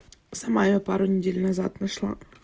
сама я пару недель назад нашла